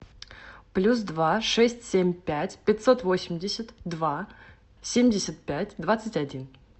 плюс два шесть семь пять пятьсот восемьдесят два семьдесят пять двадцать один